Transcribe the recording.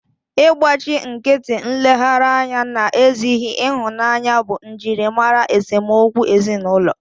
Ịgbachi nkịtị, nleghara anya na ezighị ịhụnanya bụ njirimara esemokwu ezinụlọ